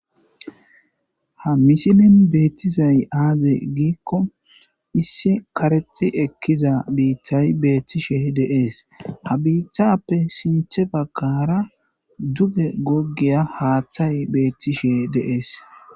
ha misilen beettizay aaze giikko issi karexi ekkiza bittay beethtishe deees ha bitappe sinthe bakara duge goggeya haaththay beethtishe deees